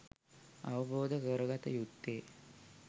අවබෝධ කරගත යුත්තේ